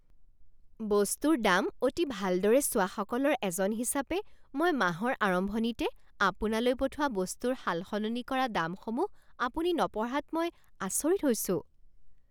বস্তুৰ দাম অতি ভালদৰে চোৱাসকলৰ এজন হিচাপে এই মাহৰ আৰম্ভণিতে আপোনালৈ পঠোৱা বস্তুৰ সালসলনি কৰা দামসমূহ আপুনি নপঢ়াত মই আচৰিত হৈছোঁ।